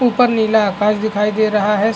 ऊपर नीला आकाश दिखाई दे रहा है।